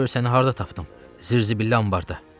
Gör səni harda tapdım, zirzibil Ambarıda.